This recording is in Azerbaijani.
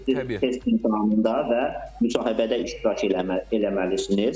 Biz test imtahanında və müsahibədə iştirak eləməlisiniz.